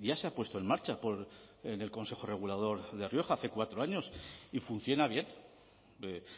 ya se ha puesto en marcha en el consejo regulador de rioja hace cuatro años y funciona bien